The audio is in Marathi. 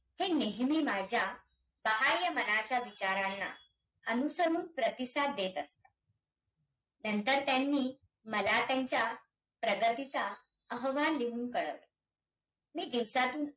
जर ह्या आयोगाचा कार्यकाळ पहायचा झाल्यास त हा कार्यकाळ एकोणीशे बावन ते एकोणीशे सत्तावन या पाच वर्षासाठी व्हता . आणी या आयोगाच्या शिफारशी या